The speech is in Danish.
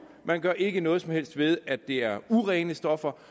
man gør ikke noget som helst ved at det er urene stoffer